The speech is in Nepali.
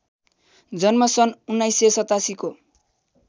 जन्म सन् १९८७ को